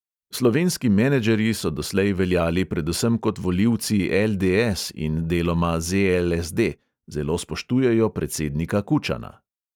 Slovenski menedžerji so doslej veljali predvsem kot volivci LDS in deloma ZLSD, zelo spoštujejo predsednika kučana.